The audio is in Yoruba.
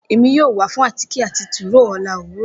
Emi yoo wa fun átíké ati tiróó ọla owurọ.